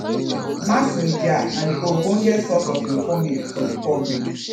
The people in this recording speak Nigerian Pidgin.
mass media na the ogbenge source of informate for the public